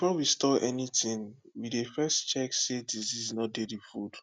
before we store anything we dey first check say disease no dey the food